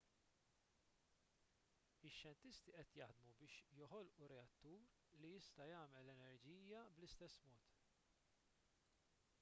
ix-xjentisti qed jaħdmu biex joħolqu reattur li jista' jagħmel l-enerġija bl-istess mod